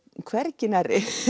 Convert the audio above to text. hvergi nærri